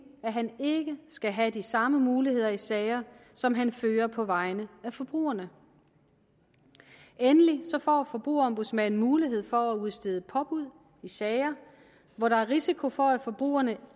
at han ikke skal have de samme muligheder i sager som han fører på vegne af forbrugerne endelig får forbrugerombudsmanden mulighed for at udstede påbud i sager hvor der er risiko for at forbrugerne